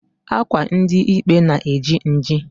Akwa ndi ikpe na-eji nji.